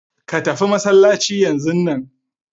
Ka tafi masallaci yanzun nan!